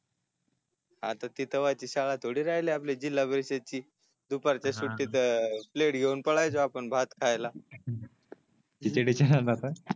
आता तिथ तेव्हाची शाळा थोडी राहिली आपली जिल्हा परिषद ची दुपारच्या सुट्टीत प्लेट घेऊन पळायचो आपण भात खायला खिचडी काय आता